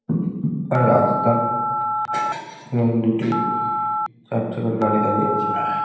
রাস্তা এবং দুটি চারচাকার গাড়ি দাঁড়িয়ে আছে।